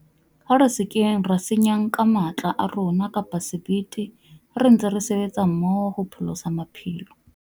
Ha re se ke ra senyang ka matla a rona kapa sebete ha re ntse re sebetsa mmoho hopholosa maphelo.